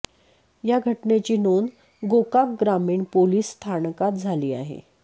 या घटनेची नोंद गोकाक ग्रामीण पोलीस स्थानकात झाली आहे